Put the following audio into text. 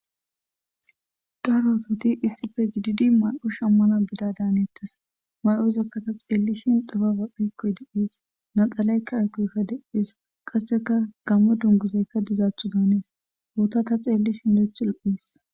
daro oosati issife giididi ma'o shammana bida daaneettes ma'oyzakka ta xeellishin dufa waqhaykkoy de7ees naxalaykka ayqoykka deees qasseka gamme dunguzaykka dizaaththu daanees boota ta xeellishin lo'eethu lohees